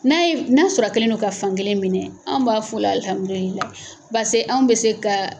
N'a ye n'a sɔrɔ a kɛlen do ka fan kelen minɛ anw b'a f'o la alhamdulilayi base anw bɛ se ka